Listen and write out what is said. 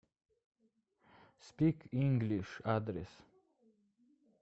спик инглиш адрес